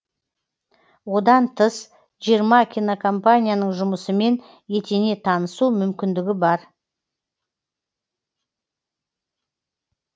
одан тыс жиырма кинокомпанияның жұмысымен етене танысу мүмкіндігі бар